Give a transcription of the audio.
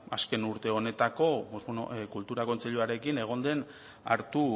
azken urte honetako pues bueno kultura kontseiluarekin egon den hartu